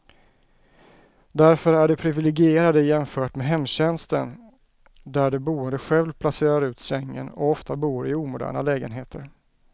Därför är de priviligierade jämfört med hemtjänsten där de boende själv placerar ut sängen, och ofta bor i omoderna lägenheter.